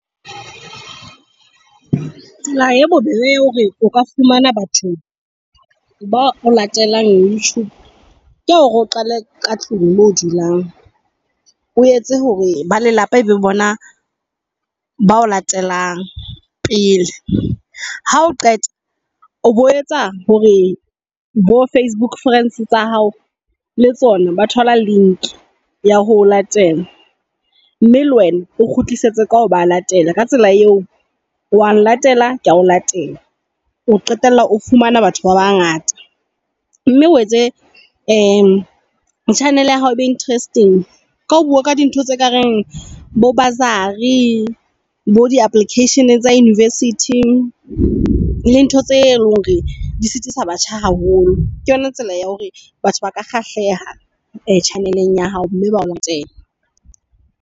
Tsela e bobebe ya hore o ka fumana batho ba o latelang YouTube ke ya hore o qale ka tlung mo o dulang. O etse hore ba lelapa ebe bona ba o latelang pele. Ha o qeta o bo etsa hore bo Facebook friends tsa hao le tsona ba thola link ya ho o latela. Mme le wena o kgutlisetse ka ho ba latela ka tsela eo wa nlatela kea o latela. O qetella o fumana batho ba bangata mme o etse channel ya hao ebe interesting. Ka ho bua ka dintho tse kareng bo bursary bo di application tsa university, le ntho tse leng hore di sitisa batjha haholo ke yona tsela ya hore batho ba ka kgahleha tjhaneleng ya hao mme ba o latela.